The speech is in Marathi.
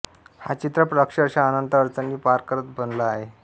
हा चित्रपट अक्षरशः अनंत अडचणी पार करत बनला आहे